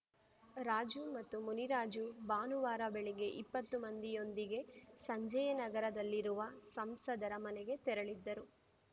ರಾಜು ಮತ್ತು ಮುನಿರಾಜು ಭಾನುವಾರ ಬೆಳಗ್ಗೆ ಇಪ್ಪತ್ತು ಮಂದಿಯೊಂದಿಗೆ ಸಂಜಯನಗರದಲ್ಲಿರುವ ಸಂಸದರ ಮನೆಗೆ ತೆರಳಿದ್ದರು